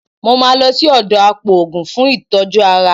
Mo máa lọ sí ọ̀dọ̀ apòògùn fún ìtọ́jú ara